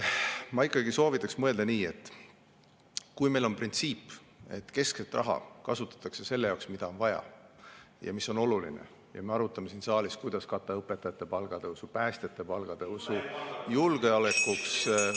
Ma ikkagi soovitaks mõelda nii, et kui meil on printsiip, et keskset raha kasutatakse selle jaoks, mida on vaja ja mis on oluline, ja me arutame siin saalis, kuidas katta õpetajate palgatõusu, päästjate palgatõusu, julgeolekuks …